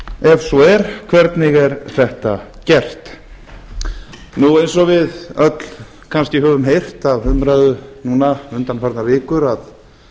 ef svo er hvernig er þetta gert eins og við öll kannski höfum heyrt af umræðu núna undanfarnar vikur